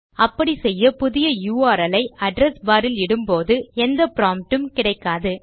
அப்படிச்செய்ய புதிய யுஆர்எல் ஐ address bar இல் இடும்போது நமக்கு எந்த ப்ராம்ப்ட் உம் கிடைக்காது